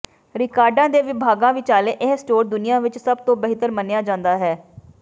ਰਿਕਾਰਡਾਂ ਦੇ ਵਿਭਾਗਾਂ ਵਿਚਾਲੇ ਇਹ ਸਟੋਰ ਦੁਨੀਆ ਵਿਚ ਸਭ ਤੋਂ ਬਿਹਤਰ ਮੰਨਿਆ ਜਾਂਦਾ ਹੈ